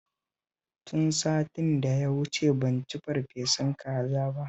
Tun satin da ya wuce ban ci farfesun kaza ba